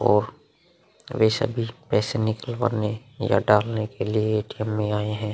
और ये सभी पैसे निकलवाने या डालने के लिए एटीएम में आए हैं।